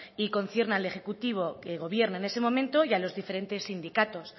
y concierne al ejecutivo que gobierne en ese momento y a los diferentes sindicatos